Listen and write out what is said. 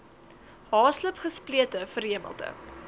haaslip gesplete verhemelte